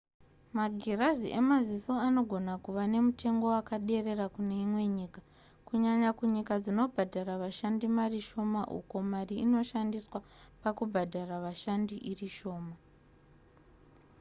magirazi emaziso anogona kuva nemutengo wakaderera kune imwe nyika kunyanya kunyika dzinobhadhara vashandi mari shoma uko mari inoshandiswa pakubhadhara vashandi iri shoma